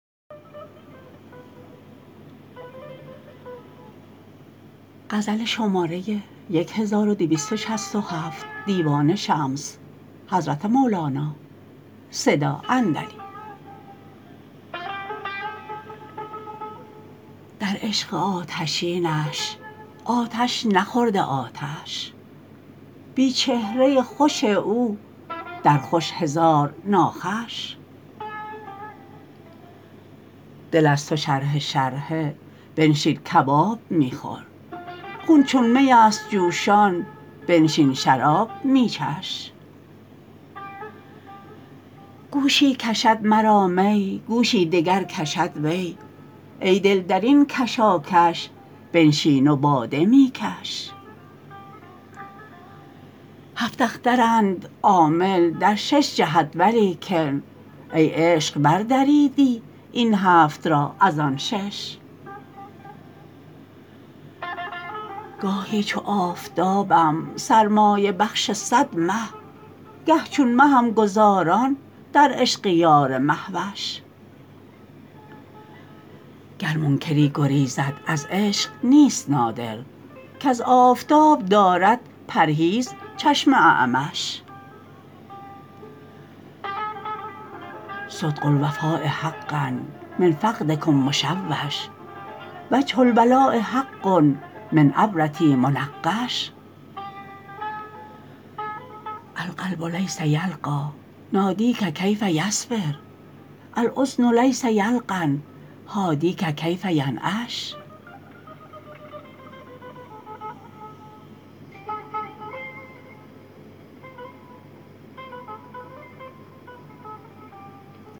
در عشق آتشینش آتش نخورده آتش بی چهره خوش او در خوش هزار ناخوش دل از تو شرحه شرحه بنشین کباب می خور خون چون میست جوشان بنشین شراب می چش گوشی کشد مرا می گوشی دگر کشد وی ای دل در این کشاکش بنشین و باده می کش هفت اخترند عامل در شش جهت ولیکن ای عشق بردریدی این هفت را از آن شش گاهی چو آفتابم سرمایه بخش صد مه گه چون مهم گذاران در عشق یار مه وش گر منکری گریزد از عشق نیست نادر کز آفتاب دارد پرهیز چشم اعمش صدغ الوفاء حقاء من فقدکم مشوش وجه الولاء حقاء من عبرتی منقش القلب لیس یلقی نادیک کیف یصبر الاذن لیس یلقن حادیک کیف ینعش